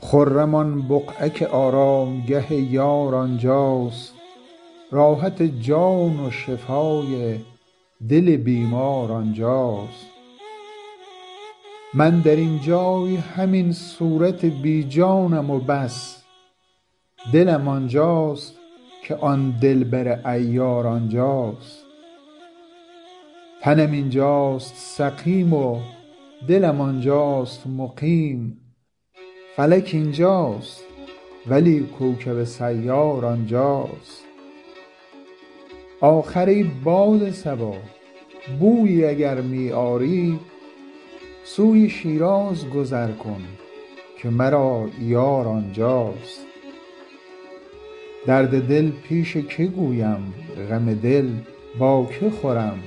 خرم آن بقعه که آرامگه یار آنجاست راحت جان و شفای دل بیمار آنجاست من در این جای همین صورت بی جانم و بس دلم آنجاست که آن دلبر عیار آنجاست تنم اینجاست سقیم و دلم آنجاست مقیم فلک اینجاست ولی کوکب سیار آنجاست آخر ای باد صبا بویی اگر می آری سوی شیراز گذر کن که مرا یار آنجاست درد دل پیش که گویم غم دل با که خورم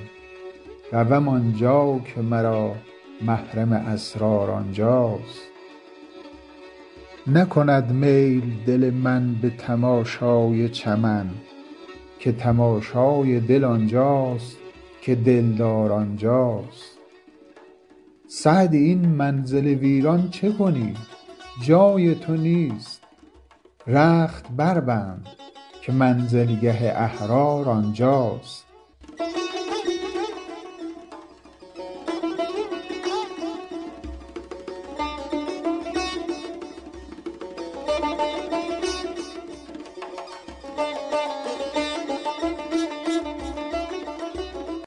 روم آنجا که مرا محرم اسرار آنجاست نکند میل دل من به تماشای چمن که تماشای دل آنجاست که دلدار آنجاست سعدی این منزل ویران چه کنی جای تو نیست رخت بربند که منزلگه احرار آنجاست